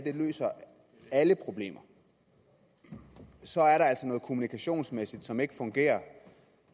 her løser alle problemer så er der altså noget kommunikationsmæssigt som ikke fungerer